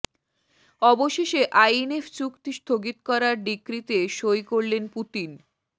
অবশেষে আইএনএফ চুক্তি স্থগিত করার ডিক্রিতে সই করলেন পুতিন